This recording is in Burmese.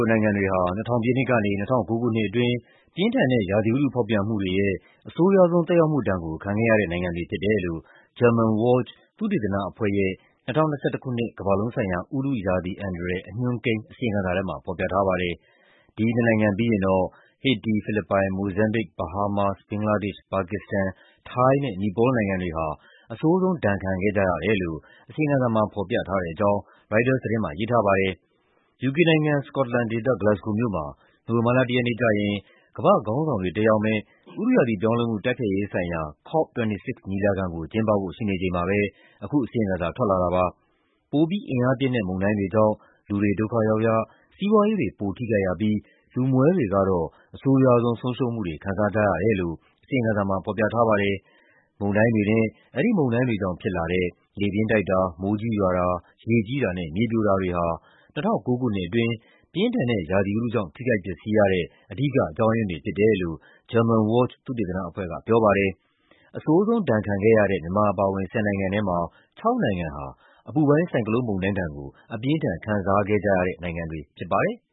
နိုင်ငံတွေဟာ ၂၀၀၀ ပြည့်နှစ်ကနေ ၂၀၁၉ ခုနှစ်အတွင်း ပြင်းထန်တဲ့ ရာသီဥတု ဖောက်ပြန်မှုတွေရဲ့ အဆိုးရွားဆုံး သက်ရောက်မှုဒဏ်ကို ခံခဲ့ရတဲ့နိုင်ငံတွေ ဖြစ်တယ်လို့ Germanwatch သုတေသနအဖွဲ့ရဲ့ ၂၀၂၁ ခုနှစ် ကမ္ဘာလုံးဆိုင်ရာ ဥတုရာသီအန္တရာယ် အညွှန်းကိန်း အစီရင်ခံစာထဲမှာ ဖော်ပြထားပါတယ်။ ဒီနှစ်နိုင်ငံပြီးရင်တော့ ဟေတီ၊ ဖိလစ်ပိုင်၊ မိုဇမ်ဘစ်၊ ဘဟားမားစ်၊ ဘင်္ဂလားဒေ့ရှ်၊ ပါကစ္စတန်၊ ထိုင်းနဲ့ နီပေါလ်နိုင်ငံတွေဟာ အဆိုးဆုံး ဒဏ်ခံခဲ့ကြရတယ်လို့ အစီရင်ခံစာမှာ ဖော်ပြထားတဲ့အကြောင်း ရိုက်တာသတင်းမှာ ရေးထားပါတယ်။ ယူကေနိုင်ငံ၊ စကော့တလန်ဒေသ၊ ဂလက်စ်ဂိုမြို့မှာ နိုဝင်ဘာလ ၁ ရက်နေ့ကျရင် ကမ္ဘာ့ခေါင်းဆောင်တွေ တက်ရောက်မယ့် ဥတုရာသီပြောင်းလဲမှု တိုက်ဖျက်ရေးဆိုင်ရာ COP26 ညီလာခံကို ကျင်းပဖို့ ရှိနေချိန်မှာပဲ အခုအစီရင်ခံစာ ထွက်လာတာပါ။ ပိုပြီးအင်အားပြင်းတဲ့ မုန်တိုင်းတွေကြောင့် လူတွေ ဒုက္ခရောက်ရ၊ စီးပွားရေးတွေ ပိုထိခိုက်ရပြီး လူမွဲတွေကတော့ အဆိုးရွားဆုံး ဆုံးရှုံးမှုတွေ ခံစားကြရတယ်လို့ အစီရင်ခံစာမှာ ဖော်ပြထားပါတယ်။ မုန်တိုင်းတွေနဲ့ အဲဒီမုန်တိုင်းတွေကြောင့် ဖြစ်လာတဲ့ လေပြင်းတိုက်တာ၊ မိုးကြီးရွာတာ၊ ရေကြီးတာနဲ့ မြေပြိုတာတွေဟာ ၂၀၁၉ ခုနှစ်အတွင်း ပြင်းထန်တဲ့ ရာသီဥတုကြောင့် ထိခိုက်ပျက်စီးရတဲ့ အဓိကအကြောင်းရင်းတွေ ဖြစ်တယ်လို့ Germanwatch သုတေသနအဖွဲ့က ပြောပါတယ်။ အဆိုးဆုံးဒဏ်ခံခဲ့ရတဲ့ မြန်မာအပါအဝင် ၁၀ နိုင်ငံထဲမှာ ၆ နိုင်ငံဟာ အပူပိုင်း ဆိုင်ကလုန်းမုန်တိုင်းဒဏ်ကို အပြင်းအထန် ခံစားခဲ့ကြရတဲ့နိုင်ငံတွေ ဖြစ်ပါတယ်။